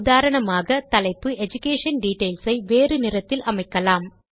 உதாரணமாக தலைப்பு education details ஐ வேறு நிறத்தில் அமைக்கலாம்